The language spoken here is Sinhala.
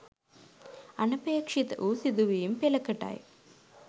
අන්පේක්ෂිත වූ සිදුවීම් පෙළකටයි.